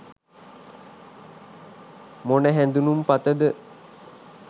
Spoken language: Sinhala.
මොන හැඳුනුම්පතද